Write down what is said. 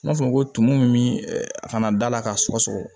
N b'a fɔ ko tumu min a kana da la k'a sɔgɔ sɔgɔ